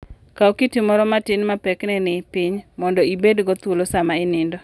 Kaw kiti moro matin ma pekne ni piny mondo ibedgo thuolo sama inindo.